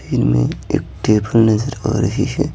इनमें एक टेबल नजर आ रही है।